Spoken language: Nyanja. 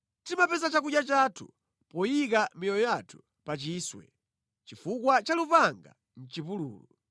Timapeza chakudya chathu poyika miyoyo yathu pa chiswe chifukwa cha lupanga mʼchipululu.